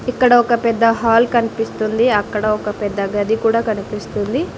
ఇక్కడ ఒక పెద్ద హాల్ కన్పిస్తుంది అక్కడ ఒక పెద్ద గది కూడా కనిపిస్తుంది.